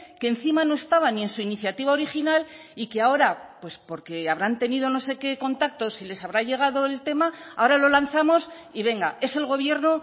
que encima no estaba ni en su iniciativa original y que ahora pues porque habrán tenido no sé qué contactos y les habrá llegado el tema ahora lo lanzamos y venga es el gobierno